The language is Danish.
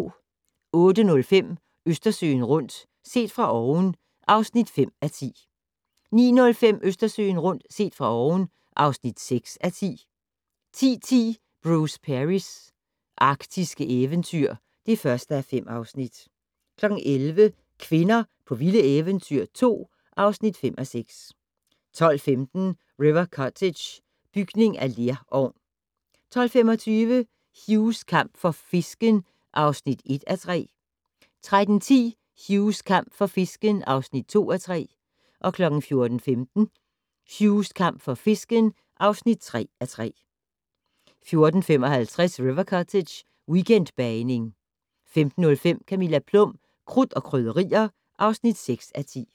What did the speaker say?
08:05: Østersøen rundt - set fra oven (5:10) 09:05: Østersøen rundt - set fra oven (6:10) 10:10: Bruce Perrys arktiske eventyr (1:5) 11:00: Kvinder på vilde eventyr 2 (5:6) 12:15: River Cottage - bygning af lerovn 12:25: Hughs kamp for fisken (1:3) 13:10: Hughs kamp for fisken (2:3) 14:15: Hughs kamp for fisken (3:3) 14:55: River Cottage - weekendbagniing 15:05: Camilla Plum - Krudt og Krydderier (6:10)